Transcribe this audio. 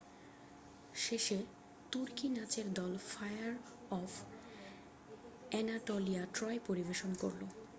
"শেষে তুর্কি নাচের দল ফায়ার অফ অ্যানাটোলিয়া "ট্রয়" পরিবেশন করল।